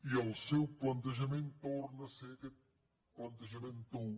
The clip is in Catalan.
i el seu plantejament torna a ser aquest plantejament tou